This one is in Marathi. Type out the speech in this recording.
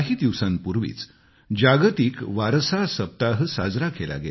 काही दिवसांपूर्वीच जागतिक वारसा सप्ताह साजरा केला